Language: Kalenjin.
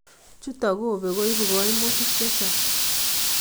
Chuto kobek koibu koimutik chechang